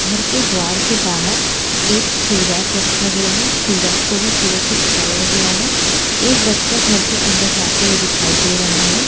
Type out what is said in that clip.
घर के द्वार के बहार एक शू रैक रखा गया है शू रैक को भी फूलो से सजाया गया है एक बच्चा घर के अंदर जाते हुए दिखाई दे रहा है।